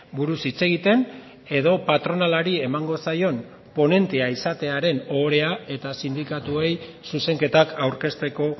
buruz hitz egiten edo patronalari emango zaion ponentea izatearen ohorea eta sindikatuei zuzenketak aurkezteko